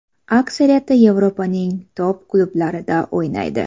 Aksariyati Yevropaning top-klublarida o‘ynaydi.